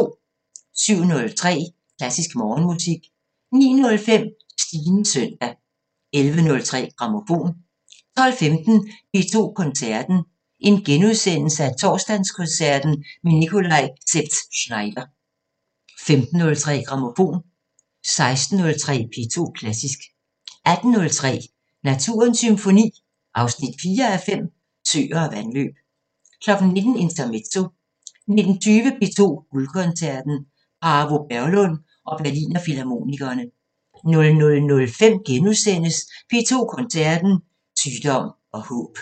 07:03: Klassisk Morgenmusik 09:05: Stines søndag 11:03: Grammofon 12:15: P2 Koncerten – Torsdagskoncert med Nikolaj Szeps-Znaider * 15:03: Grammofon 16:03: P2 Klassisk 18:03: Naturens Symfoni 4:5 – Søer og vandløb 19:00: Intermezzo 19:20: P2 Guldkoncerten: Paavo Berglund og Berliner Filharmonikerne 00:05: P2 Koncerten – Sygdom og håb *